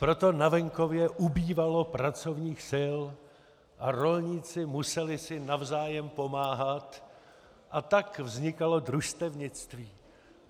Proto na venkově ubývalo pracovních sil a rolníci museli si navzájem pomáhat, a tak vznikalo družstevnictví.